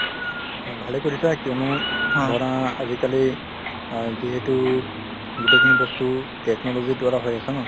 ভালে কৰিছা কিয়নো ধৰা আজিকালি অ যিহেতু গোটেইখিনি বস্তু technology ৰ দ্বাৰা হৈ আছে ন ।